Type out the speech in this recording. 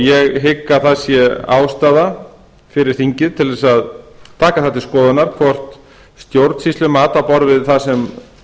ég hygg að það sé ástæða fyrir þingið til að taka það til skoðunar hvort stjórnsýslumat á borð við það sem